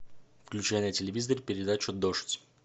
включай на телевизоре передачу дождь